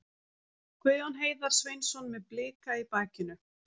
Guðjón Heiðar Sveinsson með Blika í bakinu.